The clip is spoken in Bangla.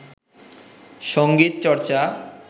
সংগীত চর্চা